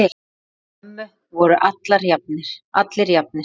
Fyrir mömmu voru allir jafnir.